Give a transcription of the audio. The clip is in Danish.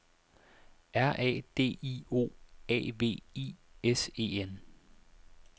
R A D I O A V I S E N